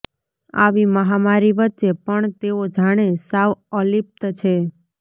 આવી મહામારી વચ્ચે પણ તેઓ જાણે સાવ અલિપ્ત છે